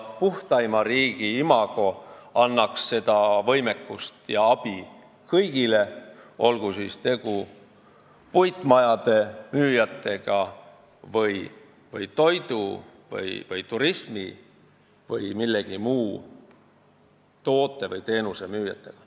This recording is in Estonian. Puhtaima riigi imago annaks võimekust ja abi kõigile, olgu tegu puitmajade, toidu, turismiteenuste või mingi muu toote või teenuse müüjatega.